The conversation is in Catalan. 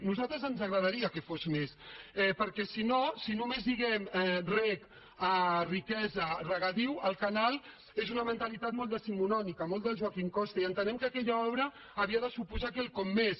a nosaltres ens agradaria que fos més perquè si no si només lliguem reg a riquesa a regadiu al canal és una mentalitat molt decimonònica molt del joaquim costa i entenem que aquella obra havia de suposar quelcom més